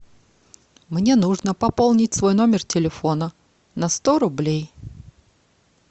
мне нужно пополнить свой номер телефона на сто рублей